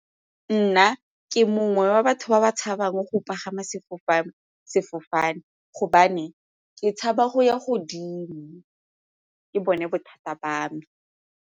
Nna ke mongwe wa batho ba ba tshabang go pagama sefofane gobane ke tshaba go ya godimo ke bone bothata ba me.